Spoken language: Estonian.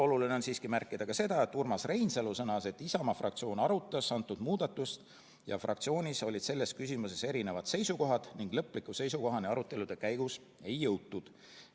Oluline on siiski märkida ka seda, et Urmas Reinsalu sõnas, et Isamaa fraktsioon arutas antud muudatust ja fraktsioonis olid selles küsimuses erinevad seisukohad ning lõpliku seisukohani arutelude käigus ei jõutud.